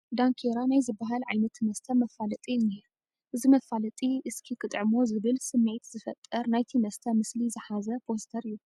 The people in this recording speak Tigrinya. ዳንኬራ ናይ ዝበሃል ዓይነት መስተ መፋለጢ እኒሀ፡፡ እዚ መፋለጢ እስኪ ክጥዕሞ ዝብል ስምዒት ዝፈጥር ናይቲ መስተ ምስሊ ዝሓዘ ፖስተር እዩ፡፡